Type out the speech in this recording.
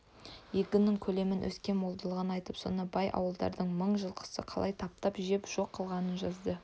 егіннің көлемін өскен молдығын айтып соны бай ауылдардың мың жылқысы қалай таптап жеп жоқ қылғанын жазды